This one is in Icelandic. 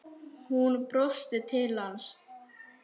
Hún brosti til hans.